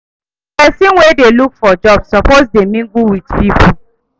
pesin wey dey look for job suppose dey mingle with pipo.